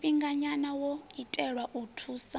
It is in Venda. tshifhinganya wo itelwa u thusa